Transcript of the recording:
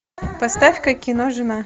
поставь ка кино жена